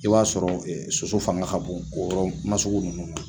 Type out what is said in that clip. I b'a sɔrɔ soso fanga ka bon o yɔrɔ nasugu ninnu na